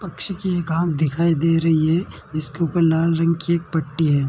पंक्षी की एक आँख दिखाई दे रही है जीसके ऊपर लाल रंग की एक पट्टी है।